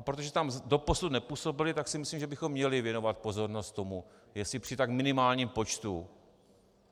A protože tam doposud nepůsobili, tak si myslím, že bychom měli věnovat pozornost tomu, jestli při tak minimálním počtu